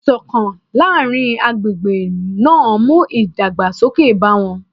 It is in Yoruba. Ìṣọ̀kan láàrin agbègbè náà mú ìdàgbàsókè bá wọn